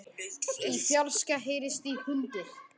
Í fjarska heyrist í hundi.